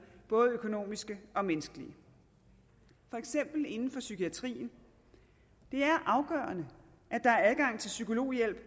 både økonomiske og menneskelige for eksempel inden for psykiatrien det er afgørende at der er adgang til psykologhjælp